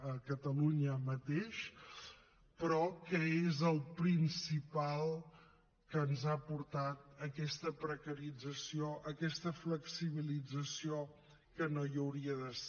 a catalunya mateix però que és el principal que ens ha portat a aquesta precarització a aquesta flexibilització que no hi hauria de ser